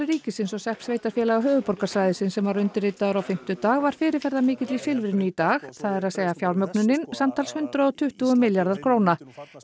ríkisins og sex sveitarfélaga höfuðborgarsvæðisins sem var undirritaður á fimmtudag var fyrirferðamikill í Silfrinu í dag það er að segja fjármögnunin samtals hundrað og tuttugu milljarða króna